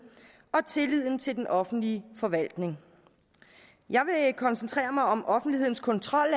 og 5 tilliden til den offentlige forvaltning jeg vil koncentrere mig om offentlighedens kontrol